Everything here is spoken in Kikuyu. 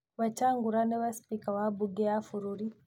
Wetangula nĩwe spika wa mbunge ya bũrũri